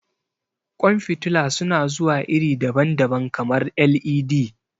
Ƙwan fitila su na zuwa iri daban-daban, kamar LED.